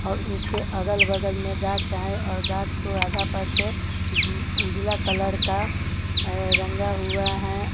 और उसके अगल-बगल में गाछ है और गाछ को आधा पर से ब उजला कलर का आ रंगा हुआ है।